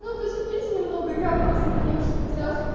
ну потерпите немного я просто поняв что потеряв